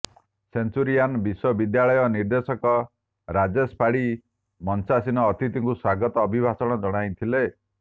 Centurion ବିଶ୍ୱ ବିଦ୍ୟାଳୟ ନିର୍ଦେଶକ ରାଜେଶ ପାଢୀ ମଞ୍ଚାସୀନ ଅତିଥିଙ୍କୁ ସ୍ୱାଗତ ଅଭିଭାଷଣ ଜଣାଇଥିଲେ